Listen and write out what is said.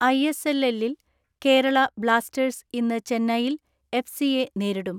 ISL എല്ലിൽ Kerala blasters ഇന്ന് Chennaiyin FC യെ നേരിടും.